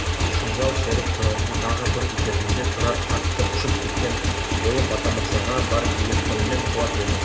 шінжау серік тұрарды тағы бір итергенде тұрар қатты ұшып кеткен болып атамырзаға бар екпінімен құлап еді